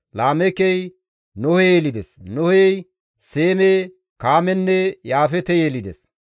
Laameekey Nohe yelides; Nohey Seeme, Kaamenne Yaafeete yelides.